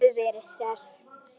Hún hefur verið hress?